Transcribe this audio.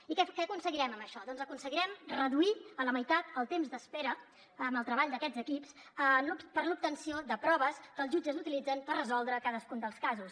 i què aconseguirem amb això doncs aconseguirem reduir a la meitat el temps d’espera en el treball d’aquests equips per a l’obtenció de proves que els jutges utilitzen per resoldre cadascun dels casos